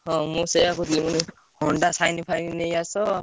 ହଁ ମୁଁ ସେଇଆ କହୁଥିଲି Honda Shine ଫାଇନ୍ ନେଇ ଆସ।